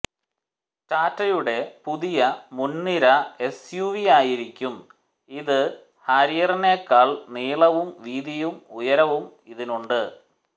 ടാറ്റയുടെ പുതിയ മുൻനിര എസ്യുവിയായിരിക്കും ഇത് ഹാരിയറിനേക്കാൾ നീളവും വീതിയും ഉയരവും ഇതിനുണ്ട്